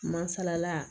Masala